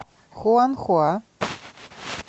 хуанхуа